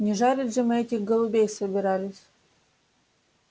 не жарить же мы этих голубей собирались